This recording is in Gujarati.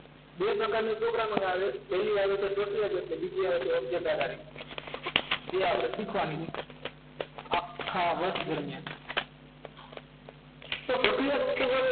બે પ્રકારની programming આવે પહેલી આવે છે પ્રક્રિયા જક અને બીજી આવે છે object આધારિત જે આપણે શીખવાની છે આખા વર્ષ દરમિયાન તો પ્રક્રિયા જતું કરે